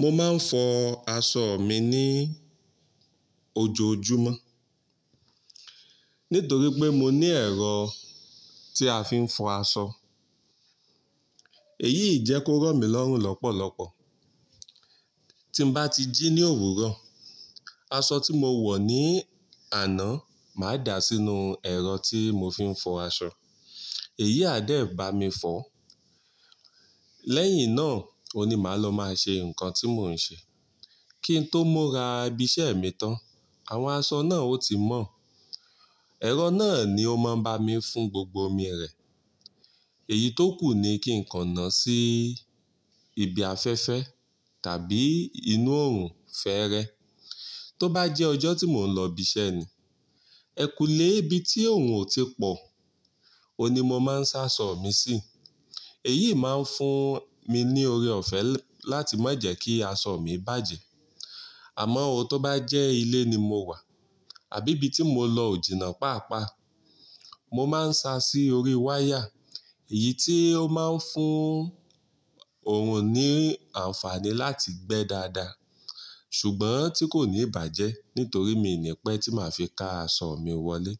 Mo máa ń fọ aṣọ mi ní ojoojúmọ́ nítorí pé mo ní ẹ̀rọ tí a fi ń fọ aṣọ. Èyí ì jẹ́ kó rọ̀ mí lọ́rùn lọ́pọ̀lọ́pọ̀. Tí n bá ti jí ní òwúrọ̀, aṣọ tí mo wọ̀ ní àná máa dà sínú ẹ̀rọ tí mo fi ń fọ aṣọ, èyí a dẹ̀ bá mi fọ. Lẹ́yìn náà oun ni máa lọ máa ṣe nǹkan tí mò ń ṣe. Kí n tó mura ibi iṣẹ́ mi tán, àwọn aṣọ náà ó ti mọ́. Ẹ̀rọ náà ni ó máa ń bá mi fún gbogbo omi rẹ̀. Èyí tó kù ni kí n kan nà sí ibi afẹ́fẹ́ tàbí inú oòrùn fẹ́ẹ́rẹ́. Tó bá jẹ́ ọjọ́ tí mò ń lọ ibi iṣẹ́ ni, ẹ kú le ibi tí òòrùn ò tí pọ̀, òun ni mo máa ń sa aṣọ mi sí. Èyí máa ń fún mi ní oore ọ̀fẹ́ láti má jẹ́ kí aṣọ mi bàjẹ́. Àmọ́ ó tó bá jẹ́ ilé ni mo wà àbí ibi tí mo lọ òjìna pàápàá, mo máa ń sa sí orí wáyà. Èyí tí ó máa ń fún òòrùn ní àǹfààní láti gbẹ́ dáadáa ṣùgbọ́n tí kò ní ìbàjẹ́ nítorí mi ò ní ẹ́pẹ́ tí màá fi ka aṣọ mi wọlé.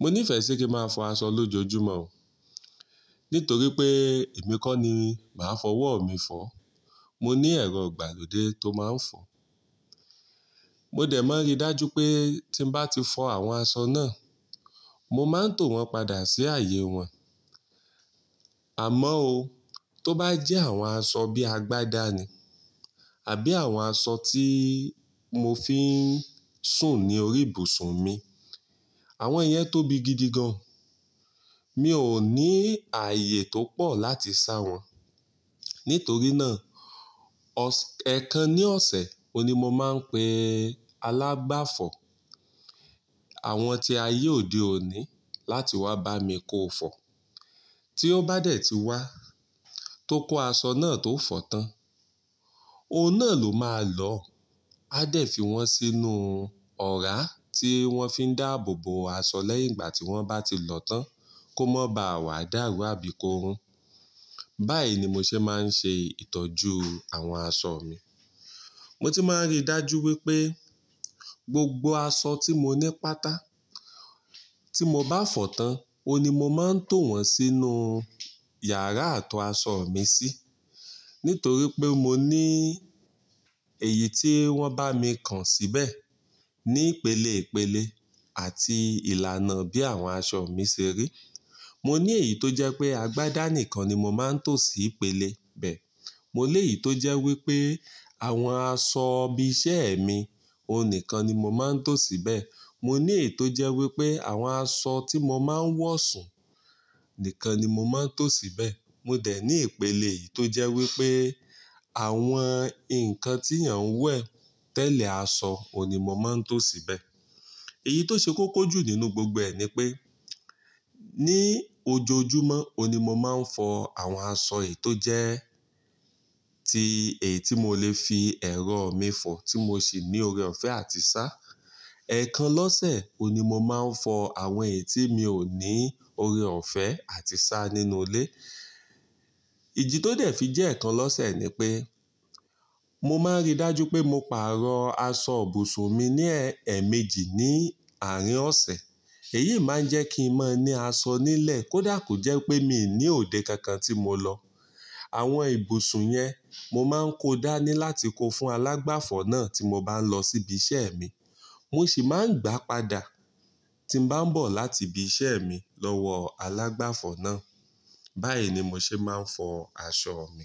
Mo ní ìfẹ́ ṣé kí máa fọ aṣọ lójoojúmọ́ nítorí pé èmi kọ́ ni màá fọwọ́ mi fọ́. Mo ní ẹ̀rọ ìgbàlódé tó máa ń fọ. Mo dẹ̀ máa ríi dájú pé tí n bá ti fọ àwọn aṣọ náà, mo máa ń tò wọ́n padà sí ààyè wọn. Àmọ́ ó tó bá jẹ́ àwọn aṣọ bíi agbádá ni àbí àwọn aṣọ tí mo fi ń sùn ní orí ibùsùn mi, àwọn iyẹn tóbi gidi gan. Mi ò ní ààyè tó pọ̀ láti sá wọ́n. Nítorí náà, ọs-- ẹ̀ẹ̀kan ní ọ̀sẹ̀, òun ní mo máa ń pe alágbàfọ̀, àwọn tí ayé òde òní láti wá bá mi kó fọ. Tí ó bá dẹ̀ ti wá tó kó aṣọ náà tó fọ tán, ó náà ló máa lọ, a dẹ̀ fi wọ́n sínú ọ̀rá tí wọ́n fi ń dáàbò bo aṣọ lẹ́yìn ìgbà tí wọ́n bá ti lọ tán kó mo ba à wà dáàrú àbí kó rún. Báyìí ni mo ṣe máa ń ṣe ìtọ́jú àwọn aṣọ mi. Mo tun máa ń ríi dájú wípé gbogbo aṣọ tí mo ní pátá tí mo bá fọ tán, òiní mo máa ń tò wọ́n sínú yàrá àto aṣọ mi sí nítorí pé mo ní èyí tí wọ́n bá mi kan síbẹ̀ ní ìpele ìpele àti ìlànà bí àwọn aṣọ mi ṣe rí. Mo ní èyí tó jẹ́ pé agbádá nìkan ni mo máa ń to sí ìpele bẹ. Mo ní èyí tó jẹ́ wípé àwọn aṣọ ibi iṣẹ́ mi, òun nìkan ni mo máa ń to síbẹ̀. Mo ní èyí tó jẹ́ wípé àwọn aṣọ tí mo máa ń wọ̀ sùn nìkan ni mo máa ń to síbẹ̀. Mo dẹ̀ ní ìpele èyí tó jẹ́ wípé àwọn nǹkan tí èèyàn ń wẹ̀ tẹ́lẹ̀ aṣọ òní mo máa ń to síbẹ̀. Èyí tó ṣe kókó jù nínú gbogbo ẹ ní pé ní ojoojúmọ́, ounvnií mo máa ń fọ àwọn aṣọ èyí tó jẹ́ ti èyí tí mo lè fi ẹ̀rọ mi fọ tí mo sì ní oore ọ̀fẹ́ àti sá. Ẹ̀ẹ̀kan lọ́sẹ̀, òní mo máa ń fọ àwọn èyí tí mi ò ní oore ọ̀fẹ́ àti sá nínú ilé. Iji tó dẹ̀ fi jẹ́ ẹ̀ẹ̀kan lọ́sẹ̀ ni pé mo máa ń ríi dájú pé mo pààrọ̀ aṣọ ibùsùn mi ní ẹ, ẹ̀ẹ̀méjì ní àárín ọ̀sẹ̀. Èyí máa ń jẹ́ kí n máa ní aṣọ nílẹ̀ kó dà kó jẹ́ pé mi ò ní òde kankan tí mo lọ. Àwọn ibùsùn yen mo máa ń kó dání láti kó fún alágbàfọ̀ náà tí mo bá lọ sí ibi iṣẹ́ mi. Mo sì máa ń gbà padà tí n bá ń bọ̀ láti ibi iṣẹ́ mi lọ́wọ́ alágbàfọ̀ náà. Báyìí ni mo ṣe máa ń fọ aṣọ mi.